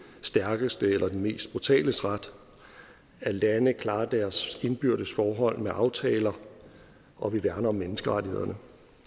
stærkeste eller den mest brutales ret at lande klarer deres indbyrdes forhold med aftaler og at vi værner om menneskerettighederne og